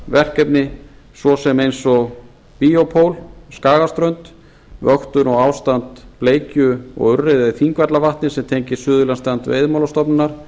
verkefni svo sem eins og bíópól skagaströnd vöktun og ástand bleikju og urriða í þingvallavatni sem tengist suðurlandsdeild veiðimálastofnunar